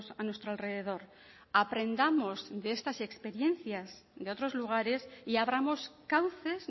a nuestro alrededor aprendamos de estas experiencias de otros lugares y abramos cauces